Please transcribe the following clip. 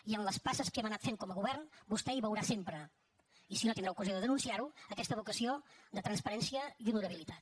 i en les passes que hem anat fent com a govern vostè hi veurà sempre i si no tindrà ocasió de denunciar ho aquesta vocació de transparència i honorabilitat